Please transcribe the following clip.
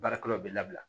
Baarakɛlaw bɛ labila